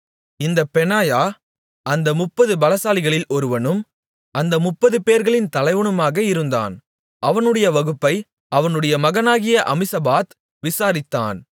இந்தப் பெனாயா அந்த முப்பது பலசாலிகளில் ஒருவனும் அந்த முப்பது பேர்களின் தலைவனுமாக இருந்தான் அவனுடைய வகுப்பை அவனுடைய மகனாகிய அமிசபாத் விசாரித்தான்